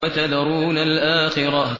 وَتَذَرُونَ الْآخِرَةَ